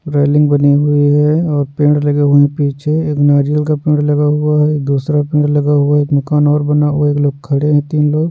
Railing बनी हुई हैं और पेड़ लगे हुए वहां पीछे एक नारियल का पेड़ लगा हुआ है दूसरा पेड़ लगा हुआ एक मकान और बना हुआ। एक लोग खड़े हैं तीन लोग --